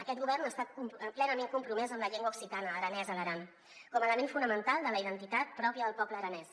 aquest govern ha estat plenament compromès amb la llengua occitana aranès a l’aran com a element fonamental de la identitat pròpia del poble aranès